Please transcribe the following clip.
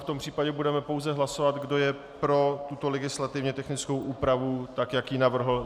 V tom případě budeme pouze hlasovat, kdo je pro tuto legislativně technickou úpravu tak, jak ji navrhl.